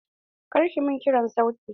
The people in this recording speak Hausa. Kar ki min kirar sauti!